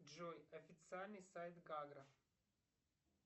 джой официальный сайт гагра